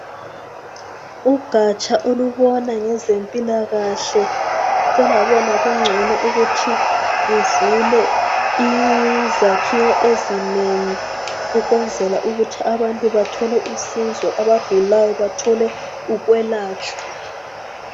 Ugatsha olubona ngezempilakahle solwabona kungcono ukuthi luvule izakhiwo ezinengi ukwenzela ukuthi bethole usizo, abagulayo bathole ukwelatshwa.